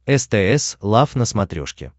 стс лав на смотрешке